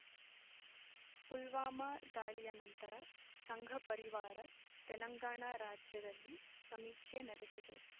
ಪುಲ್ವಾಮಾ ದಾಳಿಯ ನಂತರ ಸಂಘ ಪರಿವಾರ ತೆಲಂಗಾಣ ರಾಜ್ಯದಲ್ಲಿ ಸಮೀಕ್ಷೆ ನಡೆಸಿದೆ